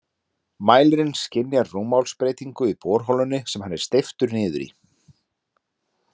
Mælirinn skynjar rúmmálsbreytingu í borholunni sem hann er steyptur niður í.